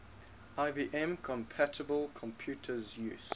ibm compatible computers use